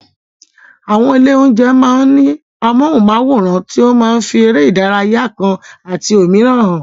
Àwọn ilé-oúnjẹ máa ń ní amóhùnmáwòràn tó máa ń fi eré ìdárayá kan àti òmíràn hàn.